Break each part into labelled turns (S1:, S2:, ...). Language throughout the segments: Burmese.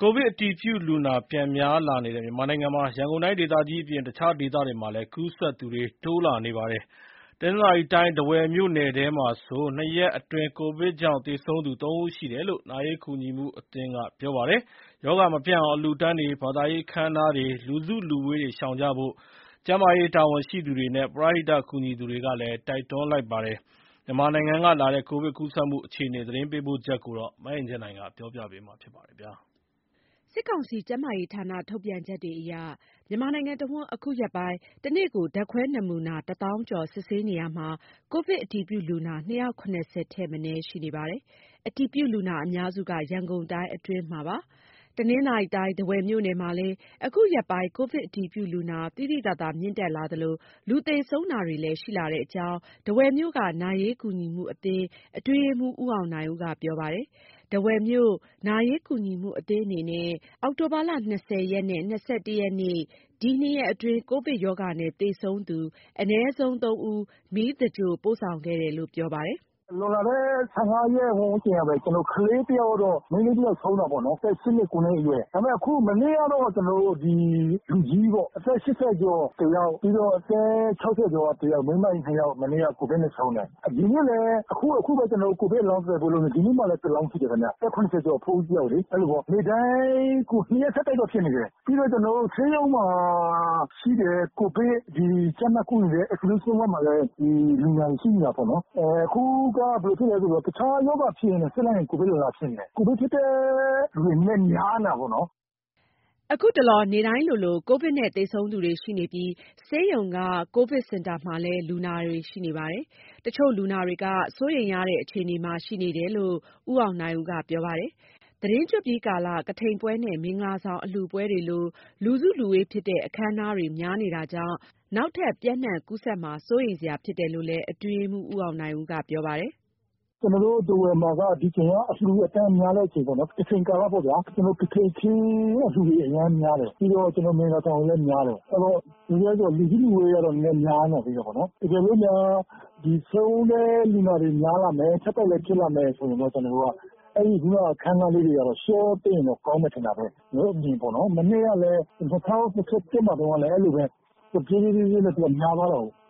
S1: ကိုဗစ်အတည်ပြုလူနာ ပြန်များလာတဲ့ မြန်မာနိုင်ငံမှာ ရန်ကုန်တိုင်းဒေသကြီးအပြင် တခြားဒေသတွေမှာလည်း ကူးစက်သူတွေ တိုးနေပါတယ်။ တနင်္သာရီတိုင်း ထားဝယ်မြို့နယ်ထဲမှာဆို ၂ ရက်အတွင်း ကိုဗစ်ကြောင့် သေဆုံးသူ ၃ ဦးရှိတယ်လို့ နာရေးကူညီမှုအသင်းက ပြောပါတယ်။ ရောဂါမပြန့်အောင် အလှူအတန်းတွေ၊ ဘာသာရေးအခမ်းအနားတွေ လူစုလူဝေးတွေကို ရှောင်ကြဖို့ ကျန်းမာရေးတာဝန်ရှိသူတွေ၊ ပရဟိတကူညီသူတွေက တိုက်တွန်းနေပါတယ်။ မြန်မာနိုင်ငံကလာတဲ့ ကိုဗစ်ကူးစက်မှု အခြေအနေ သတင်းပေးပို့ချက်ကို မအင်ကြင်းနိုင်က တင်ပြပေးထားပါတယ်။
S2: စစ်ကောင်စီ ကျန်းမာရေးဌာန ထုတ်ပြန်ချက်တွေအရ မြန်မာနိုင်ငံတဝန်း အခုရက် ပိုင်း တနေ့ကို ဓါတ်ခွဲနမူနာ ၁ သောင်းကျော်စစ်ဆေးတာမှာ ကိုဗစ်အတည်ပြုလူနာ ၂၇၀ ထက်မနည်း ရှိနေပါတယ်။ အတည်ပြုလူနာအများစုက ရန်ကုန်တိုင်းအတွင်းမှာ ဖြစ်ပါတယ်။ တနင်္သာရီတိုင်း ထားဝယ်မြို့နယ်မှာလည်း အခုရက်ပိုင်း ကိုဗစ်အတည်ပြုလူနာ သိသိသာသာ မြင့်တက်လာသလို လူသေဆုံးတာတွေလည်း ရှိလာတဲ့အကြောင်း ထားဝယ်မြို့က နာရေးကူညီမှုအသင်း အတွင်းရေးမှူး ဦးအောင်နိုင်ဦးက ပြောပါတယ်။ ထားဝယ်မြို့ နာရေးကူညီမှုအသင်းအနေနဲ့ အောက်တိုဘာလ ၂၀ ရက်နဲ့ ၂၁ ရက်နေ့ ဒီနှစ်ရက်အတွင်း ကိုဗစ်ရောဂါနဲ့ သေဆုံးသူ အနည်းဆုံး ၃ ဦး မီးသင်္ဂြိုဟ်ပို့ဆောင်ခဲ့တယ်လို့ ပြောပါတယ်။ “
S3: လွန်လာတဲ့ ၁၅ ရက်ဝန်းကျင်ကပဲ မိန်းကလေးတယောက်ဆုံးတာပေါ့နော်- အသက် ၈ နှစ်ခွဲအရွယ်။ ဒါပေမယ့် မနေ့ကတော့ အသက် ၈၀ ကျော်တယောက်၊ ပြီးတော့ အသက် ၆၀ ကျော်က တယောက်။ မိန်းမကြီး ၂ ယောက်- ကိုဗစ်နဲ့ ဆုံးတယ်။ ဒီနေ့လည်း အခု အခုပဲ ကိုဗစ်အလောင်းကို သဂြိုဟ်ဖို့ လုပ်နေတာ၊ ဒီနေ့မှလည်း တလောင်းရှိတယ်ခင်ဗျ။ အသက် ၇၀ ကျော် အဖိုးကြီးတယောက်လေ။ အဲ့လိုပေါ့ ရက်တိုင်း၊ ကိုဗစ်နဲ့ ဆက်တိုက်တော့ဖြစ်နေတယ်။ ပြီးတော့ ကျနော်တို့ ဆေးရုံမှာရှိတဲ့ ကိုဗစ်ကြပ်မပ်ကုနေတဲ့ Isolation word မှာလည်း ဒီလူနာတွေရှိနေတာပေါ့။ အခုက ဘယ်လိုဖြစ်လဲဆိုတော့ တခြားရောဂါဖြစ်ရင် စစ်လိုက်ရင် ကိုဗစ်ရောဂါဖြစ်နေတယ်။ ကိုဗစ်ဖြစ်တဲ့လူတွေ နည်းနည်းများနေတာပေါ့နော်။
S2: ” အခုတလော နေ့တိုင်းလိုလို ကိုဗစ်နဲ့ သေဆုံးသူတွေရှိနေပြီး ဆေးရုံက ကိုဗစ်စင် တာမှာလည်း လူနာတွေရှိနေပါတယ်။ တချို့ လူနာတွေကစိုးရိမ်ရတဲ့ အခြေအနေမှာ ရှိနေတာလို့ ဦးအောင်နိုင်ဦးက ပြောပါတယ်။ သတင်းကျွတ်ပြီးကာလ ကထိန်ပွဲနဲ့ မင်္ဂလာဆောင်အလှူပွဲတွေလို လူစုလူဝေးဖြစ်တဲ့ အခမ်းအနားတွေ များနေတာကြောင့် နောက်ထပ် ပျံ့နှံ့ကူးစက်မှာ စိုးရိမ်စရာဖြစ်တယ်လို့လည်း အတွင်းရေးမှူး ဦးအောင်နိုင်ဦးက ပြောပါတယ်။
S3: “ကျနော်တို့ ထားဝယ်မှာက ဒီအချိန်မှာ အလှူအတန်းများတဲ့အချိန်မှာပေါ့နော်။ ကထိန်ကာလပေါ့ဗျာ။ ကထိန်ခင်းအလှူတွေ အရမ်းများတယ်။ ပြီးတော့ မင်္ဂလာဆောင်လည်းများတယ်။ အဲ့တော့ လူစုလူဝေးကတော့ နည်းနည်းများနေသေးတယ်ပေါ့နော်။ တကယ်လို့များ ဒီဆုံးတဲ့ လူနာများလာမယ်၊ ဆက်တိုက်လည်းဖြစ် လာမယ်ဆိုရင်တော့ အဲ့ခုနက အခမ်းအနားလေးတွေကတော့ လျှော့ပေးရင်တော့ ကောင်းမယ်ထင်တာပဲ။ ကျနော်တို့ အမြင်ပေါ့နော် မနှစ်ကလည်း ၂၀၂၁ မှာတုန်းကလည်း အဲ့လိုပဲ။ တဖြေးဖြေးခြင်းနဲ့သူက များသွားတာကိုး။
S2: ”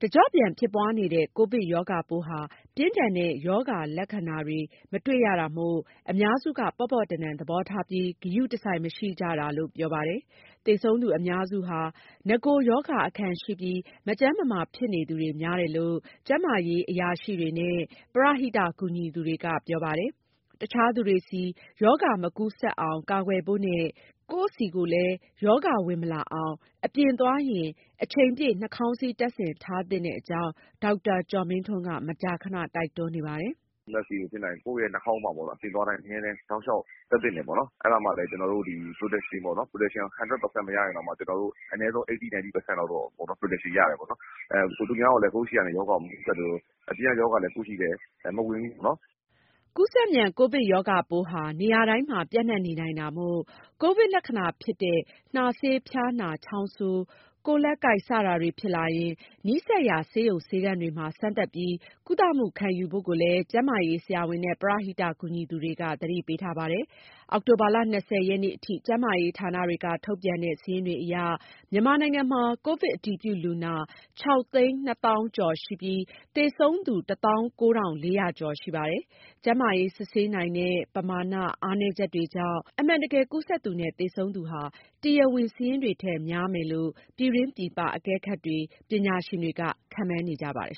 S2: တကြော့ပြန် ဖြစ်ပွားနေတဲ့ ကိုဗစ်ရောဂါပိုးဟာ ပြင်းထန်တဲ့ ရောဂါလက္ခဏာတွေ မတွေ့ရတာမို့ အများစုက ပေါ့ပေါ့တန်တန်သဘောထားပြီး ဂရုတစိုက်မရှိကြတာလို့ ပြောပါတယ်။ သေဆုံးသူအများစုဟာ နဂို ရောဂါအခံရှိပြီး မကျန်းမမာဖြစ်နေသူတွေများတယ်လို့ ကျန်းမာရေးအရာရှိတွေနဲ့ ပရဟိတကူညီသူက ပြောပါတယ်။ တခြားသူတွေဆီ ရောဂါမကူးစက်အောင်ကာကွယ်ဖို့နဲ့ ကိုယ့်ဆီကိုလည်း ရောဂါ ဝင်မလာအောင် အပြင်သွားရင် အချိန်ပြည့် နှာခေါင်းစည်း တပ်ဆင်ထားသင့်တဲ့အကြောင်း ဒေါက်တာကျော်မင်းထွန်းက မကြာခဏတိုက်တွန်းနေပါတယ်။ “Mask တွေကို ဖြစ်နိုင်ရင် ကိုယ့်ရဲ့နှာခေါင်းမှာပေါ့နော် အပြင်သွားတိုင်း အမြဲတမ်း တောက်လျှောက်တပ်သင့်တယ်ပေါ့နော်။ အဲ့ဒါမှလည်း ဒီ protection ပေါ့နော်၊ protection ကို ၁၀၀ ရာခိုင်နှုန်းမရရင်တောင်မှ အနည်းဆုံး ၈၀ ၊ ၉၀ ရာခိုင်နှုန်းလောက်တော့ အကာအကွယ်ရတယ်ပေါ့နော်။ ကိုယ့်ဆီ ရောဂါမကူးစက်သလို အပြင်ကရောဂါလည်း ကိုယ့်ဆီကို မဝင်ဘူးပေါ့နော်။” ကူးစက်မြန် ကိုဗစ်ရောဂါပိုးဟာ နေရာတိုင်းမှာ ပျံ့နှံ့နေနိုင်တာမို့ ကိုဗစ်လက္ခဏာ ဖြစ်တဲ့ နှာစေး၊ ဖျားနာ၊ ချောင်းဆိုး ကိုယ်လက်ကိုက် စတာတွေ ဖြစ်လာရင် နီးစပ် ရာ ဆေးရုံ ဆေးခန်းတွေမှာ စမ်းသပ်ပြီး ကုသမှုခံယူဖို့ကိုလည်း ကျန်းမာရေးဆရာဝန်နဲ့ ပရဟိကူညီသူတွေက သတိပေးထားပါတယ်။ အောက်တိုဘာလ ၂၀ ရက်နေ့အထိ ကျန်းမာရေး ဌာနတွေက ထုတ်ပြန်တဲ့ စာရင်းတွေအရ မြန်မာနိုင်ငံမှာ ကိုဗစ် အတည်ပြုလူနာ ခြောက်သိန်း နှစ်သောင်းကျော်ရှိပြီး သေဆုံးသူ တသောင်း ကိုးထောင့် လေးရာကျော်ရှိပါတယ်။ ကျန်းမာရေး စစ်ဆေးနိုင်တဲ့ ပမာန အားနည်းချက်တွေကြောင့် အမှန်တကယ် ကူးစက်သူနဲ့ သေဆုံးသူဟာ တရားဝင်စာရင်းတွေထက် များမယ်လို့လည်း ပြည်တွင်းပြည်ပ အကဲခတ်တွေ ပညာရှင်တွေက ခန့်မှန်းနေကြပါတယ်